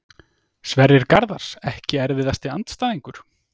Sverrir Garðars Ekki erfiðasti andstæðingur?